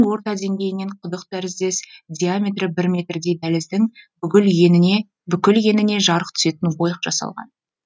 орта деңгейінен құдық тәріздес диаметрі бір метрдей дәліздің бүкіл еніне жарық түсетін ойық жасалған